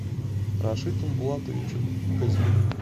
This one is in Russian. рашитом булатовичем казьминым